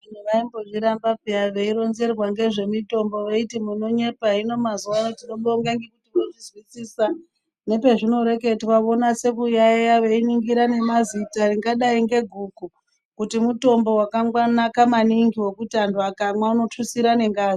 Vantu vaimbozviramba piya vaironzerwa ngezvemutombo vaiti munonyepa. Hino mazuva ano Tinobonga ngekuzwisisa nepezvinoreketwa vonasa kuyaiya vaibata nemazita ringadai ngehuku kuti mutombo wakanaka maningi ngekuti vantu vakamwa unotutsire nengazi.